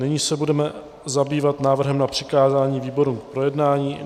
Nyní se budeme zabývat návrhem na přikázání výboru k projednání.